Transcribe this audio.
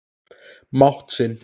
mátt sinn.